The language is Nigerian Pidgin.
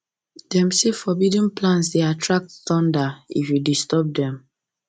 them say forbidden plants dey attract thunder if you disturb them